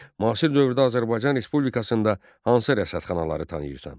Müasir dövrdə Azərbaycan Respublikasında hansı rəsədxanaları tanıyırsan?